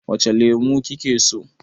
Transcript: Wace lemo kike so?